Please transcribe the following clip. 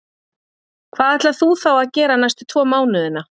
Hvað ætlar þú þá að gera næstu tvo mánuðina?